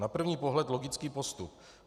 Na první pohled logický postup.